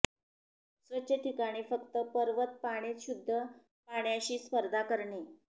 स्वच्छ ठिकाणी फक्त पर्वत पाणीच शुद्ध पाण्याशी स्पर्धा करणे